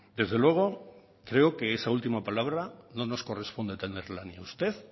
desde luego creo que esa última palabra no nos corresponde tenerla ni a usted